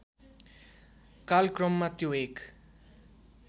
कालक्रममा त्यो एक